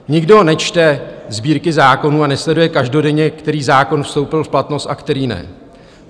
Nikdo nečte sbírky zákonů a nesleduje každodenně, který zákon vstoupil v platnost a který ne.